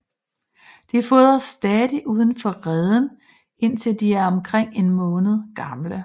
De fodres stadig udenfor reden indtil de er omkring en måned gamle